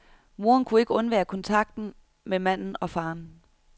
Moderen kunne ikke undvære kontakten med manden og faderen.